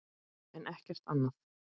en ekkert annað.